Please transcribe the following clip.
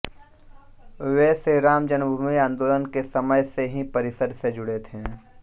वे श्रीराम जन्मभूमि आन्दोलन के समय से ही परिषद् से जुड़े थे